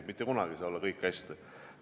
Mitte kunagi ei saa olla kõik hästi.